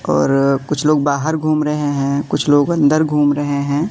और कुछ लोग बाहर घूम रहें हैं कुछ लोग अंदर घूम रहें हैं।